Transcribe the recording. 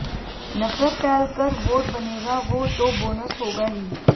नफ़रत फैल कर वोट बनेगा वो तो बोनस होगा ही